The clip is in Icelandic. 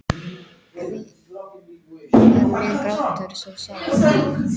Hví er minn grátur svo sár?